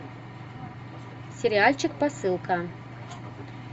сериальчик посылка